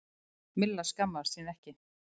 Milla skammaðist sín ekki.